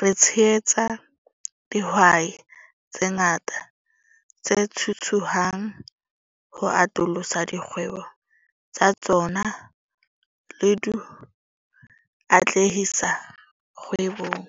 re tshehetsa dihwai tse ngata tse thuthuhang ho atolosa dikgwebo tsa tsona le ho di atlehisa kgwebong.